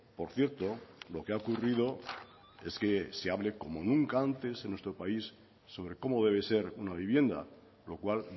por cierto lo que ha ocurrido es que se hable como nunca antes en nuestro país sobre cómo debe ser una vivienda lo cual